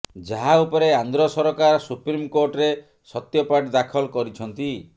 ଯାହା ଉପରେ ଆନ୍ଧ୍ର ସରକାର ସୁପ୍ରିମକୋର୍ଟରେ ସତ୍ୟପାଠ ଦାଖଲ କରିଛନ୍ତି